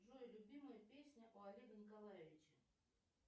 джой любимая песня у олега николаевича